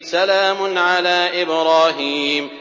سَلَامٌ عَلَىٰ إِبْرَاهِيمَ